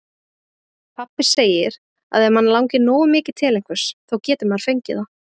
Pabbi segir að ef mann langi nógu mikið til einhvers, þá geti maður fengið það.